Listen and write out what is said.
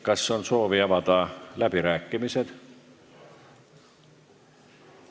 Kas on soovi avada läbirääkimised?